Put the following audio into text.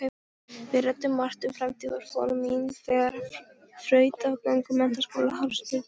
Við ræddum margt um framtíðaráform mín þegar þrautagöngu menntaskólaáranna lyki.